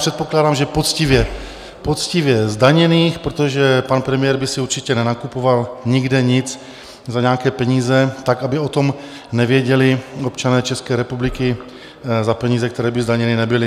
Předpokládám, že poctivě zdaněných, protože pan premiér by si určitě nenakupoval nikde nic za nějaké peníze tak, aby o tom nevěděli občané České republiky, za peníze, které by zdaněny nebyly.